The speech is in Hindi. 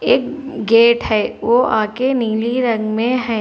एक गेट है वो आगे नीली रंग में है।